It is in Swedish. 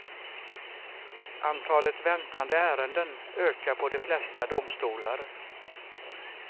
Antalet väntande ärenden ökar på de flesta domstolar.